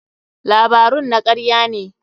Labarun na karya ne.